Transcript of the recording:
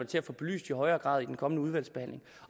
til at få belyst i højere grad i den kommende udvalgsbehandling